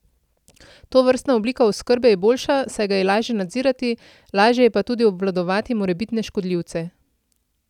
Tovrstna oblika oskrbe je boljša, saj ga je lažje nadzirati, lažje je pa tudi obvladovati morebitne škodljivce.